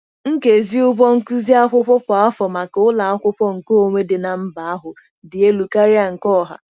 Nkezi ụgwọ nkuzi akwụkwọ kwa afọ maka ụlọ akwụkwọ nkeonwe dị na mba ahụ dị elu karịa nke ọha.